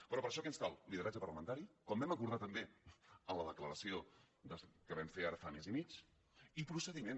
però per a això què ens cal lideratge parlamentari com vam acordar també en la declaració que vam fer ara fa mes i mig i procediment